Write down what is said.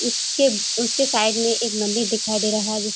उसके उसके साइड में एक मंदिर दिखाई दे रहा है जिस --